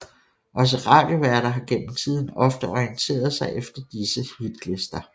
Også radioværter har gennem tiden ofte orienteret sig efter disse hitlister